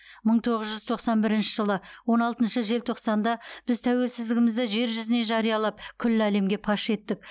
мың тоғыз жүз тоқсан бірінші жылы он алтыншы желтоқсанда біз тәуелсіздігімізді жер жүзіне жариялап күллі әлемге паш еттік